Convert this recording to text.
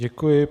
Děkuji.